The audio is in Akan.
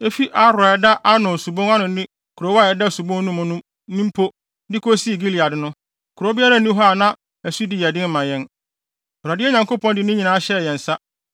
Efi Aroer a ɛda Arnon Subon ano ne kurow a ɛda subon no mu no, ne mpo, de kosi Gilead no, kurow biara nni hɔ a na ɛsodi yɛ den ma yɛn; Awurade, yɛn Nyankopɔn de ne nyinaa hyɛɛ yɛn nsa.